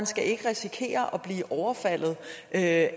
skal risikere at